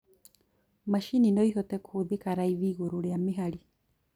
Macini noihote kũhũthĩka raithi igũrũ rĩa mĩhari